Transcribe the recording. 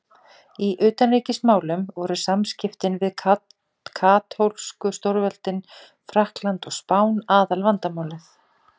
Í utanríkismálum voru samskiptin við katólsku stórveldin Frakkland og Spán aðalvandamálið.